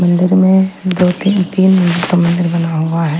मंदिर में दो तीन तीन का मंदिर बना हुआ है .